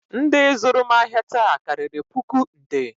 Ndị zụrụ m ahịa taa karịrị puku nde